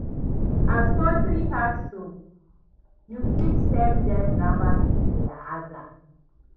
As kontry hard so, yu fit send dem rabas for dia aza